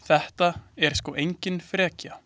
Það er sko engin frekja.